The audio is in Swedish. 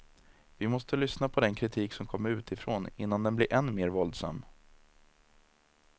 Vi måste lyssna på den kritik som kommer utifrån innan den blir än mer våldsam.